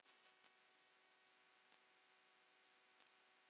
Sonur þeirra Anton Orri.